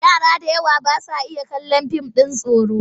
Yara da yawa ba sa iya kallon fim ɗin tsoro.